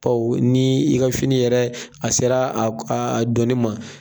Bawo ni i ka fini yɛrɛ a sera a dɔnni ma